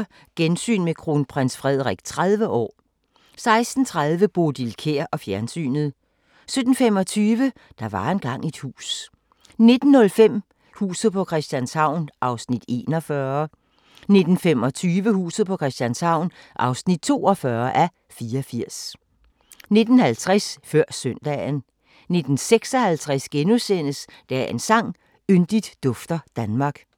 15:40: Gensyn med Kronprins Frederik 30 år 16:30: Bodil Kjer og fjernsynet 17:25: Der var engang et hus 19:05: Huset på Christianshavn (41:84) 19:25: Huset på Christianshavn (42:84) 19:50: Før Søndagen 19:56: Dagens sang: Yndigt dufter Danmark *